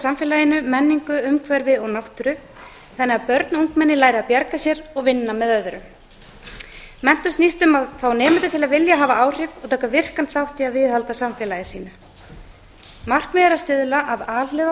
samfélaginu menningu umhverfi og náttúru þannig að börn og ungmenni læra að bjarga sér og vinna með öðrum menntun snýst um að fá nemendur til að vilja hafa áhrif og taka virkan þátt í að viðhalda samfélagi sínu markmiðið er að stuðla að alhliða